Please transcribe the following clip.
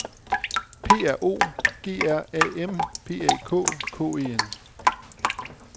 P R O G R A M P A K K E N